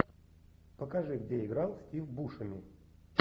покажи где играл стив бушеми